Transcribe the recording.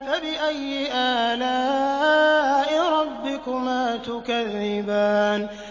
فَبِأَيِّ آلَاءِ رَبِّكُمَا تُكَذِّبَانِ